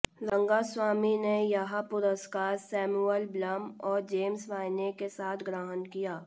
रंगास्वामी ने यह पुरस्कार सैमुअल ब्लम और जेम्स वाइने के साथ ग्रहण किया